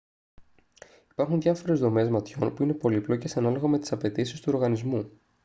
υπάρχουν διάφορες δομές ματιών που είναι πολύπλοκες ανάλογα με τις απαιτήσεις του οργανισμού